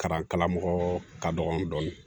Kalan karamɔgɔ ka dɔgɔn dɔɔni